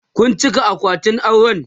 Kun cika akwatin auren?